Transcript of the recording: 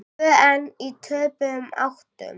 Tvö ein í töpuðum áttum.